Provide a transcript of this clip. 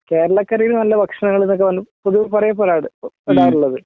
കേരളക്കരയില് നല്ല ഭക്ഷണങ്ങള് എന്നൊക്കെ പറഞ പൊതുവേ പറയപ്പെടാറ് പെടാറുള്ളത്